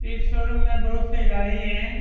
इस शोरूम में बहुत से गाड़ी है।